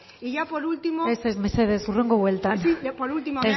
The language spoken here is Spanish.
y por último ez ez mesedez hurrengo bueltan por último